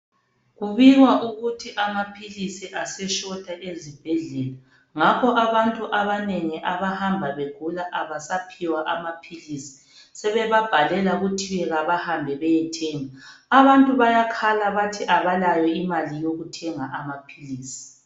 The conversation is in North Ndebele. kubikwa ukuthi amaphilisi ase shota ezibhedlela ngakho abantu abanengi abahamba begula abasaphiwa amaphilisi sebebabhalela kuthiwe abahambe beyethenga abantu bayakhala bathi abalayo imali yokuthenga amaphilisi